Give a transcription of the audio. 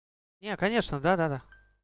нет конечно да-да-да